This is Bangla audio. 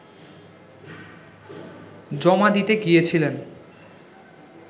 জমা দিতে গিয়েছিলেন